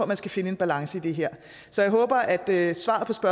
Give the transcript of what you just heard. man skal finde en balance i det her her så